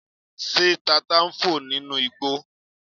Ṣé tata ń fò nínú igbó